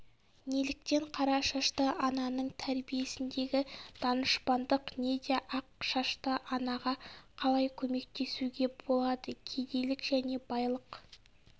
неліктен қара шашты ананың тәрбиесіндегі данышпандық неде ақ шашты анаға қалай көмектесуге болады кедейлік және байлық